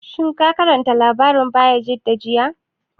Shin ka karanta labarin Bayajidda jiya?